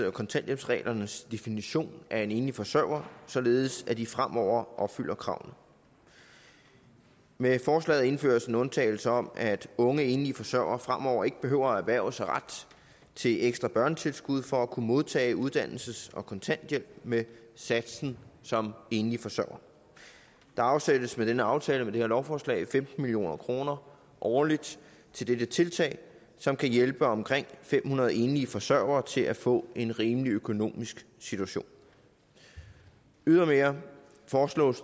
og kontanthjælpsreglernes definition af en enlig forsørger således at de fremover opfylder kravene med forslaget indføres en undtagelse om at unge enlige forsørgere fremover ikke behøver at erhverve sig ret til ekstra børnetilskud for at kunne modtage uddannelses og kontanthjælp med satsen som enlig forsørger der afsættes med denne aftale med det her lovforslag femten million kroner årligt til dette tiltag som kan hjælpe omkring fem hundrede enlige forsørgere til at få en rimelig økonomisk situation ydermere foreslås